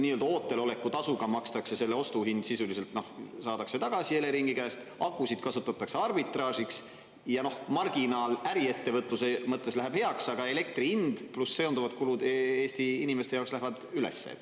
Nii-öelda ooteloleku tasuga makstakse, selle ostuhind sisuliselt saadakse tagasi Eleringi käest, akusid kasutatakse arbitraažiks ja marginaal äriettevõtluse mõttes läheb heaks, aga elektri hind pluss seonduvad kulud Eesti inimeste jaoks lähevad üles.